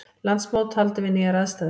Landsmót haldið við nýjar aðstæður